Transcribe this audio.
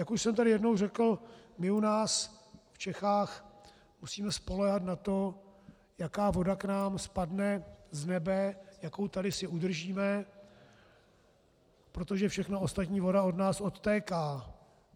Jak už jsem tady jednou řekl, my u nás v Čechách musíme spoléhat na to, jaká voda k nám spadne z nebe, jakou tady si udržíme, protože všechna ostatní voda od nás odtéká.